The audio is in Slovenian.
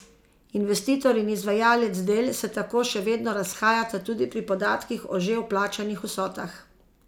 Investitor in izvajalec del se tako še vedno razhajata tudi pri podatkih o že plačanih vsotah.